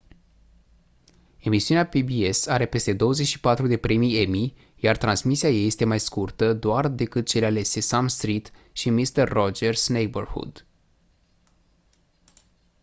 emisiunea pbs are peste 24 de premii emmy iar transmisia ei este mai scurtă doar decât cele ale sesame street și mister rogers' neighborhood